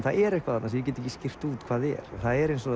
það er eitthvað þarna sem ég get ekki skýrt út hvað er það er eins og